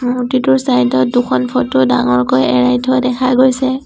মূৰ্ত্তিটোৰ চাইড ত দুখন ফটো ডাঙৰকৈ এৰাই থোৱা দেখা গৈছে।